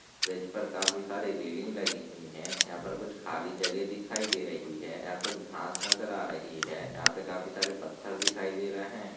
bridge पर काफी सारी रेलिंग लगी हुई है यहाँ पर कुछ खाली जगह दिखाई दे रही है यहाँ कुछ घास नजर आ रही है यहाँ पे काफी सारे पत्थर दिखाई दे रहे--